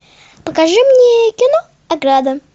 покажи мне кино ограда